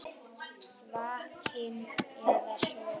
Vakinn eða sofinn.